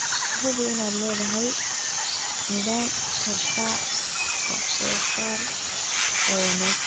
Hubi inaad leedahay nidaam raadraac wax soo saar oo wanaagsan.